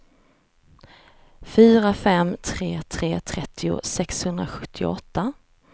fyra fem tre tre trettio sexhundrasjuttioåtta